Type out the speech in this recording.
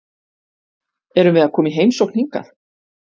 Erum við að koma í heimsókn hingað?